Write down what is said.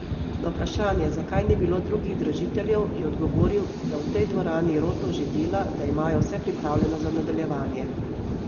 Na vprašanje, zakaj ni bilo drugih dražiteljev, je odgovoril, da v tej dvorani Roto že dela, da imajo vse pripravljeno za nadaljevanje.